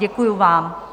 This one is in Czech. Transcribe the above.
Děkuju vám.